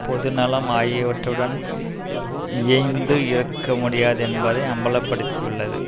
பொது நலம் ஆகியவற்றுடன் இயைந்து இருக்க முடியாது என்பதை அம்பல படுத்தியுள்ளது